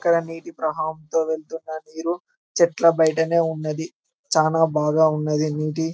ఇక్కడ నీటి ప్రవాహం తో వెళ్ళ్తున్న నీరు చెట్ల బైటనే ఉన్నది చానా బాగా ఉన్నది నీటి --